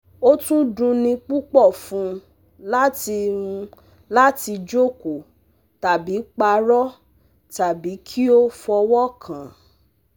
Ó tún dunni púpọ̀ fún un láti un láti jókòó tàbí parọ́ tàbí kí ó fọwọ́ kàn án